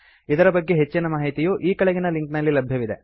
ಇದರ ಬಗ್ಗೆ ಹೆಚ್ಚಿನ ಮಾಹಿತಿಯು ಈ ಕೆಳಗಿನ ಲಿಂಕ್ ನಲ್ಲಿ ಲಭ್ಯವಿದೆ